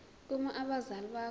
uma abazali bakho